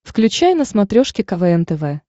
включай на смотрешке квн тв